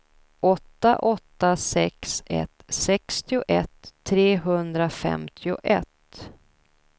åtta åtta sex ett sextioett trehundrafemtioett